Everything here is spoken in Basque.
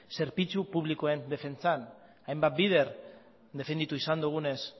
zerbitzu publikoen defentsan hainbat bider definitu izan dugunez